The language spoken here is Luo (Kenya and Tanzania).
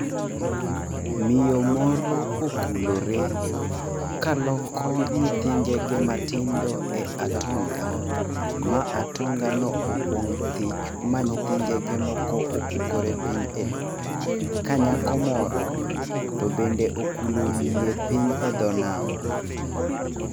Miyo moro okulore kaloko nyithi ngege matindo e atonga, ma atonga no opong' thich, ma nyithi ngege moko opukore piny elowo, ka nyako moro to bende okulo wiye piny edho nam.